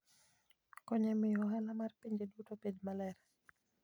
konyo e miyo ohala mar pinje duto obed maber.